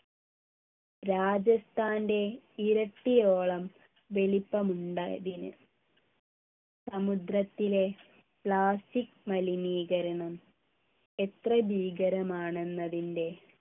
രാജസ്ഥാൻ്റെ ഇരട്ടിയോളം വലിപ്പമുണ്ട് ഇതിന് സമുദ്രത്തിലെ plastic മലിനീകരണം എത്ര ഭീകരമാണെന്നതിൻ്റെ